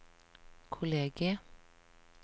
kollegiet